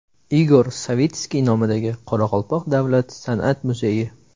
Igor Savitskiy nomidagi Qoraqalpoq davlat san’at muzeyi.